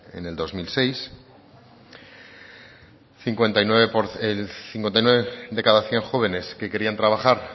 en el dos mil seis el cincuenta y cuatro de cada cien jóvenes que querían trabajar